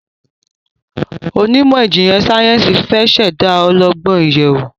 Onímò ijinlẹ sáyẹnsì fẹ ṣ'èdá ọlọgbọn ìyèwù